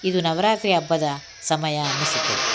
ಇದು ನವರಾತ್ರಿ ಹಬ್ಬದ ಸಮಯ ಅನಿಸುತ್ತದೆ.